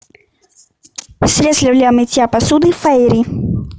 средство для мытья посуды фейри